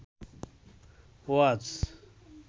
ওয়াজ